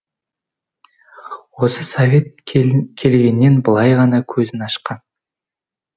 осы совет келгеннен былай ғана көзін ашқан